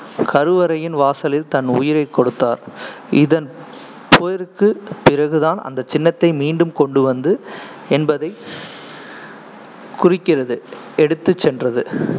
கருவரையின் வாசலில் தனது உயிரைக் கொடுத்தார், இதன் போருக்குப் பிறகு தான் அந்த சின்னத்தை மீண்டும் கொண்டு வந்து என்பதை குறிக்கிறது எடுத்துச் சென்றது.